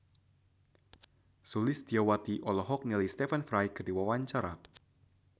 Sulistyowati olohok ningali Stephen Fry keur diwawancara